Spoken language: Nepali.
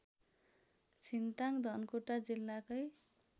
छिन्ताङ धनकुटा जिल्लाकै